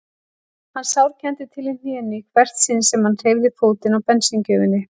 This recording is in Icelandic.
Hann sárkenndi til í hnénu í hvert sinn sem hann hreyfði fótinn á bensíngjöfinni.